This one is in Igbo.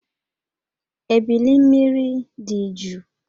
Ébílí mmiri dị jụụ